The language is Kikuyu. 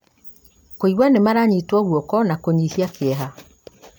kũigua nĩ maranyitwo guoko na kũnyihia kĩeha